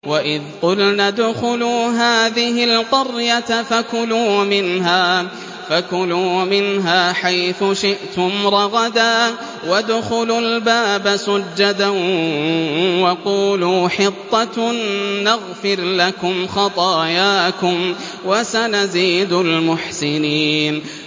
وَإِذْ قُلْنَا ادْخُلُوا هَٰذِهِ الْقَرْيَةَ فَكُلُوا مِنْهَا حَيْثُ شِئْتُمْ رَغَدًا وَادْخُلُوا الْبَابَ سُجَّدًا وَقُولُوا حِطَّةٌ نَّغْفِرْ لَكُمْ خَطَايَاكُمْ ۚ وَسَنَزِيدُ الْمُحْسِنِينَ